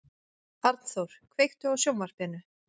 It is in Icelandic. Arnþór, kveiktu á sjónvarpinu.